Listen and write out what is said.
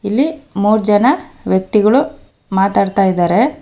ಇಲ್ಲಿ ಮೂರ್ ಜನ ವ್ಯಕ್ತಿಗಳು ಮಾತಾಡ್ತಾ ಇದರೆ.